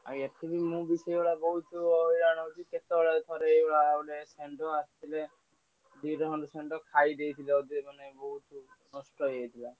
ଆଉ ଏଥିରେ ମୁଁ ବି ସେଇ ଭଳିଆ ହଇରାଣ ହେଉଛି କେତଳ ତରେ ଶଣ୍ଢ ଆସିଥିଲେ। ଦିଡା ଖଣ୍ଡେ ଷଣ୍ଡ ଖାଇଦେଇଥିଲେ ଅଧେ ମେନେ ନଷ୍ଠ ହୋଇଯେଇଥିଲା ତାପରେ ମୁଁ ଏଠି ଯଗୁଛି। ଏପଟ ସାହି ଦୋକାନ ଥମିଲା ବୋହୁତ ହଇରାଣ ହୋଉଛି ଆଉ କରିବି।